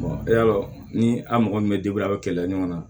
yalo ni a mɔgɔ min bɛ a bɛ kɛlɛ ɲɔgɔn na